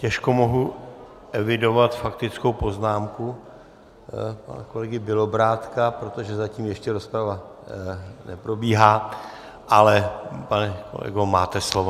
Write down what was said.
Těžko mohu evidovat faktickou poznámku pana kolegy Bělobrádka, protože zatím ještě rozprava neprobíhá, ale pane kolego, máte slovo.